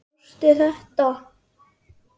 Sástu þetta?